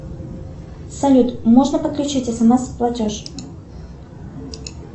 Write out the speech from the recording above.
салют можно подключить смс платеж